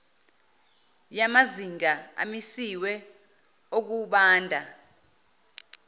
yamazinga amisiwe okubanda